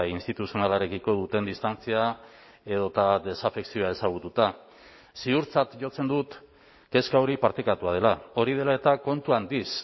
instituzionalarekiko duten distantzia edota desafekzioa ezagututa ziurtzat jotzen dut kezka hori partekatua dela hori dela eta kontu handiz